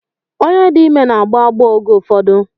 Onye dị ime n'agbọ agbọọ oge ụfọdụ.